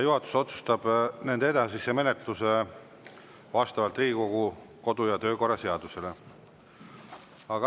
Juhatus otsustab nende edasise menetluse vastavalt Riigikogu kodu‑ ja töökorra seadusele.